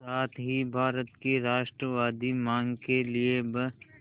साथ ही भारत की राष्ट्रवादी मांग के लिए ब्